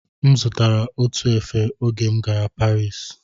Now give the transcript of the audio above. M zụtara otu efe oge m gara Parisi